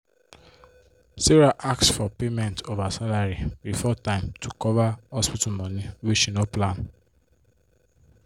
sarah ask for payment of her salary before time to cover hospital money wey she no plan